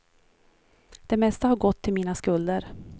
Det mesta har gått till mina skulder.